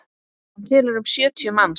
Hann telur um sjötíu manns.